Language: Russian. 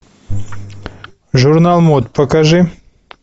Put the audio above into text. журнал мод покажи